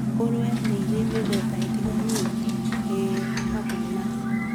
Ngũrũwe nĩ cirĩ mĩthemba ĩtiganĩte, ĩĩ hamwe na: